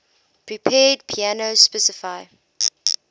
prepared piano specify